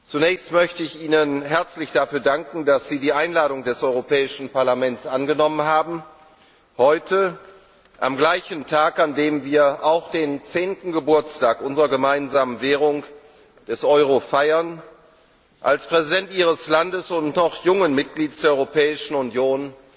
Zunächst möchte ich Ihnen herzlich dafür danken, dass Sie die Einladung des Europäischen Parlaments angenommen haben, heute am gleichen Tag, an dem wir auch den zehnten Geburtstag unserer gemeinsamen Währung, des Euro, feiern als Präsident Ihres Landes, eines noch jungen Mitglieds der Europäischen Union,